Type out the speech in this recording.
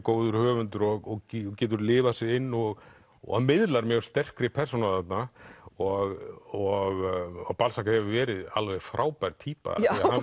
góður höfundur og getur lifað sig inn og og miðlar mjög sterkri persónu þarna og hefur verið alveg frábær týpa